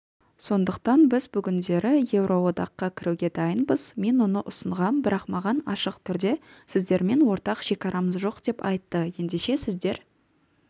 сондщықтан біз бүгіндері еуроодаққа кіруге дайынбыз мен оны ұсынғам бірақ маған ашық түрде сіздермен ортақ шекарамыз жоқ деп айтты ендеше сіздер